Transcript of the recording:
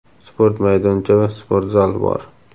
sport maydoncha va sport zal bor.